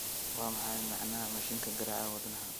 waa maxay macnaha mashiinka garaaca wadnaha